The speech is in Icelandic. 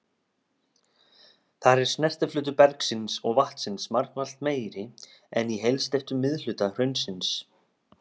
Þar er snertiflötur bergsins og vatnsins margfalt meiri en í heilsteyptum miðhluta hraunsins.